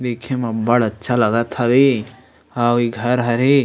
देखे म अब्बड़ अच्छा लगत हवे अऊ ए घर हरे।